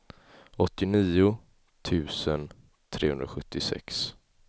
åttionio tusen trehundrasjuttiosex